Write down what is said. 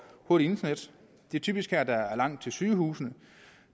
hurtigt internet det er typisk her at der er langt til sygehusene